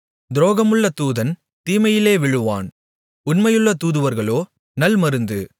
துரோகமுள்ள தூதன் தீமையிலே விழுவான் உண்மையுள்ள தூதுவர்களோ நல்மருந்து